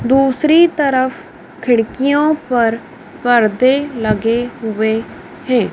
दूसरी तरफ खिड़कियों पर परदे लगे हुए हैं।